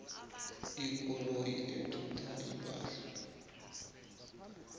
ikoloyi ethutha ipahla